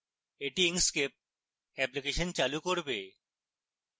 এটি inkscape application চালু করবে